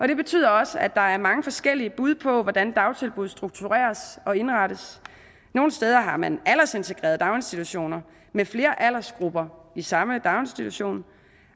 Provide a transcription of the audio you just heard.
det betyder også at der er mange forskellige bud på hvordan dagtilbud struktureres og indrettes nogle steder har man aldersintegrerede daginstitutioner med flere aldersgrupper i samme daginstitution